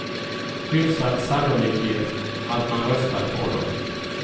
Hyfsad sannolikhet att man röstade på dom.